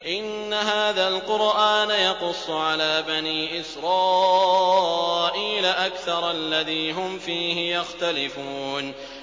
إِنَّ هَٰذَا الْقُرْآنَ يَقُصُّ عَلَىٰ بَنِي إِسْرَائِيلَ أَكْثَرَ الَّذِي هُمْ فِيهِ يَخْتَلِفُونَ